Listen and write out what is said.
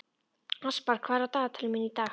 Aspar, hvað er á dagatalinu mínu í dag?